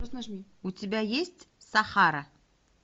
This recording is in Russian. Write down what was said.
у тебя есть сахара